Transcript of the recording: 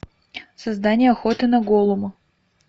создание охоты на голлума